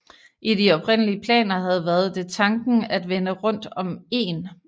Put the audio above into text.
I de oprindelige planer havde været det tanken at vende rundt om egen